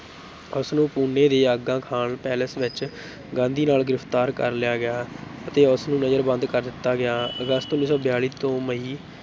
ਉਸਨੂੰ ਪੁਣੇ ਦੇ ਆਗਾ ਖਾਨ palace ਵਿੱਚ ਗਾਂਧੀ ਨਾਲ ਗ੍ਰਿਫਤਾਰ ਕਰ ਲਿਆ ਗਿਆ ਅਤੇ ਉਸ ਨੂੰ ਨਜ਼ਰਬੰਦ ਕਰ ਦਿੱਤਾ ਗਿਆ ਅਗਸਤ ਉੱਨੀ ਸੌ ਬਿਆਲੀ ਤੋਂ ਮਈ